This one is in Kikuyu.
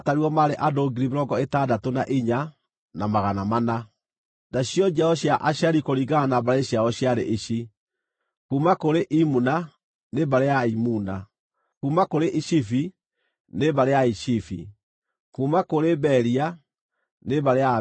Nacio njiaro cia Asheri kũringana na mbarĩ ciao ciarĩ ici: kuuma kũrĩ Imuna, nĩ mbarĩ ya Aimuna; kuuma kũrĩ Ishivi, nĩ mbarĩ ya Aishivi; kuuma kũrĩ Beria, nĩ mbarĩ ya Aberia;